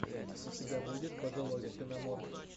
у тебя будет пожилой ксеноморф